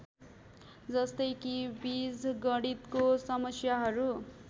जस्तै कि बीजगणितको समस्याहरू